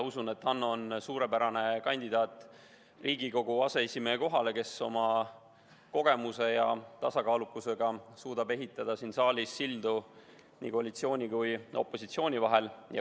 Usun, et Hanno on Riigikogu aseesimehe kohale suurepärane kandidaat, kes oma kogemuse ja tasakaalukusega suudab ehitada siin saalis sildu koalitsiooni ja opositsiooni vahel.